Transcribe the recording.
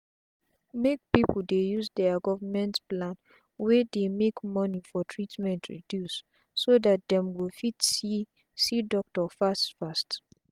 make pipu dey use there Government plan wey dey make money for treatment reduce so dat them go fit see doctor fast fast